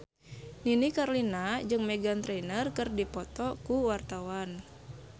Nini Carlina jeung Meghan Trainor keur dipoto ku wartawan